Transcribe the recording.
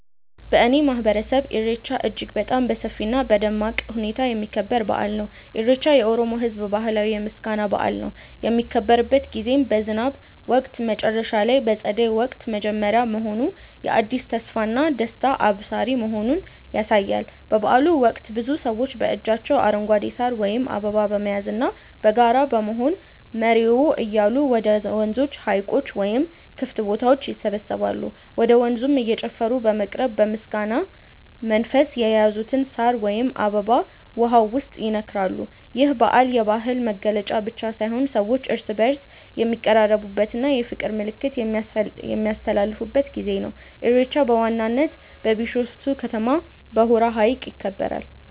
በእኔ ማህበረሰብ ኢሬቻ እጅግ በጣም በሰፊ እና በደማቅ ሁኔታ የሚከበር በአል ነው። ኢሬቻ የኦሮሞ ህዝብ ባህላዊ የምስጋና በአል ነው። የሚከበርበት ጊዜም በዝናብ ወቅት መጨረሻ እና በፀደይ ወቅት መጀመሪያ መሆኑ የአዲስ ተስፋና ደስታ አብሳሪ መሆኑን ያሳያል። በበአሉ ወቅት ብዙ ሰዎች በእጃቸው አረንጓዴ ሳር ወይም አበባ በመያዝና በጋራ በመሆን "መሬዎ" እያሉ ወደ ወንዞች፣ ሀይቆች ወይም ክፍት ቦታዎች ይሰባሰባሉ። ወደ ወንዙም እየጨፈሩ በመቅረብ በምስጋና መንፈስ የያዙትን ሳር ወይም አበባ ውሃው ውስጥ ይነክራሉ። ይህ በዓል የባህል መገለጫ ብቻ ሳይሆን ሰዎች እርስ በእርስ የሚቀራረቡበት እና የፍቅር መልዕክት የሚያስተላልፉበት ጊዜ ነው። ኢሬቻ በዋናነት በቢሾፍቱ ከተማ በሆራ ሀይቅ ይከበራል።